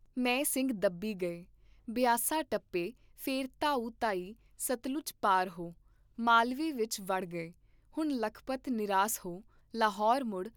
ਮੈਂ ਸਿੰਘ ਦੱਬੀ ਗਏ, ਬਿਆਸਾ ਟੱਪੇ ਫੇਰ ਧਾਓ ਧਾਈ ਸਤਲੁਜ ਪਾਰ ਹੋ, ਮਾਲਵੇ ਵਿਚ ਵੜ ਗਏ, ਹੁਣ ਲੱਖਪਤ ਨਿਰਾਸ ਹੋ, ਲਾਹੌਰ ਮੁੜ